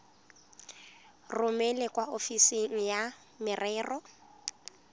romele kwa ofising ya merero